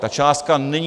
Ta částka není...